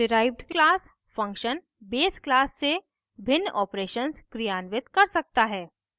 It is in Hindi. derived class function base class से भिन्न operations क्रियान्वित कर सकता है